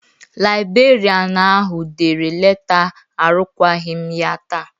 Laibrerịanu ahụ dere leta arụkwaghịm ya taa.